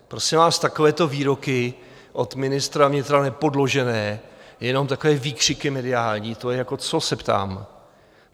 Prosím vás, takovéto výroky od ministra vnitra, nepodložené, jenom takové výkřiky mediální, to je jako co, se ptám?